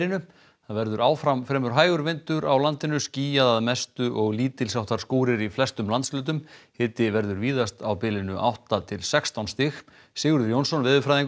það verður áfram fremur hægur vindur á landinu skýjað að mestu og lítils háttar skúrir í flestum landshlutum hiti verður víðast á bilinu átta til sextán stig Sigurður Jónsson veðurfræðingur